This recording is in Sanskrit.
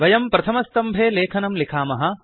वयं प्रथमस्तम्भे लेखनं लिखामः